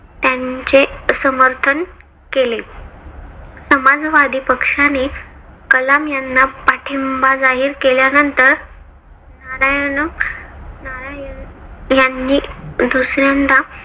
त्यांचे समर्थन केले. समाजवादी पक्षाने कलाम यांना पाठींबा जाहीर केल्यानंतर नारायण नारायण यांनी दुसऱ्यांदा